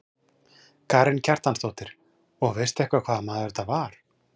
Karen Kjartansdóttir: Og veistu eitthvað hvaða maður þetta var?